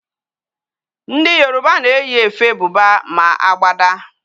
Ndi Yoruba na eyi efe Buba, ma agbada